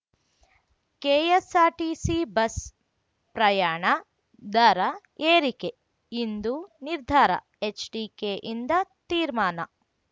KSRTC bus ಪ್ರಯಾಣ ದರ ಏರಿಕೆ ಇಂದು ನಿರ್ಧಾರ ಎಚ್‌ಡಿಕೆಯಿಂದ ತೀರ್ಮಾನ